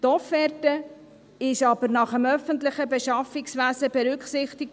Die Offerte wurde aber nach dem öffentlichen Beschaffungswesen berücksichtig.